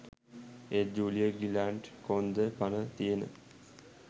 එත් Julia Gillard කොන්ද පන තියෙන